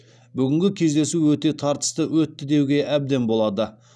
бүгінгі кездесу өте тартысты өтті деуге әбден болады